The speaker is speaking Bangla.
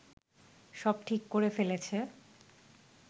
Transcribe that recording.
সব ঠিক করে ফেলেছে